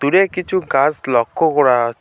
দূরে কিছু গাছ লক্ষ করা--